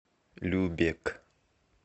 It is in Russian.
любек